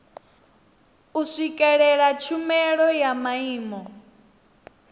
u swikelela tshumelo ya maimo